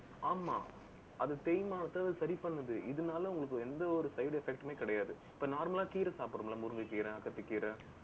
ஆமா அது தேய்மானத்தை, அது சரி பண்ணுது. இதனால உங்களுக்கு எந்த ஒரு side effect டுமே கிடையாது. இப்ப normal லா கீரை சாப்பிடுறோம்ல, முருங்கை கீரை, அகத்திக்கீரை